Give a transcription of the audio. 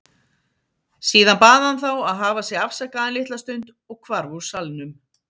Síðan bað hann þá að hafa sig afsakaðan litla stund og hvarf úr salnum.